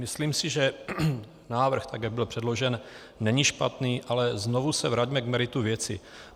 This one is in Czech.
Myslím si, že návrh, tak jak byl předložen, není špatný, ale znovu se vraťme k meritu věci.